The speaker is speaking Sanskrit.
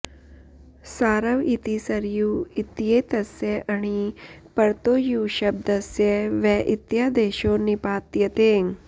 सारव इति सरयू इत्येतस्य अणि परतो यूशब्दस्य व इत्यादेशो निपात्यते